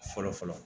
Fɔlɔ fɔlɔ